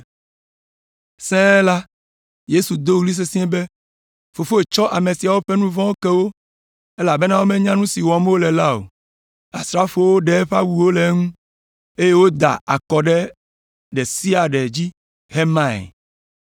Sẽe la, Yesu do ɣli sesĩe be, “Fofo tsɔ ame siawo ƒe nu vɔ̃wo ke wo, elabena womenya nu si wɔm wole la o.” Asrafowo ɖe eƒe awuwo le eŋu, eye woda akɔ ɖe ɖe sia ɖe dzi hemae.